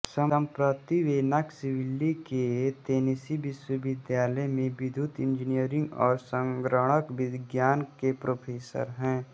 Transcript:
सम्प्रति वे नॉक्सविल्ली के तेनीसी विश्वविद्यालय में विद्युत इंजीनियरी और संगणक विज्ञान के प्रोफेसर हैं